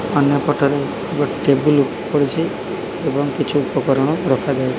ଅନ୍ୟପଟରେ ଗୋଟେ ଟେବୁଲ୍ ପଡ଼ିଛି। ଏଵଂ କିଛି ଉପକରଣ ରଖାଯାଇ --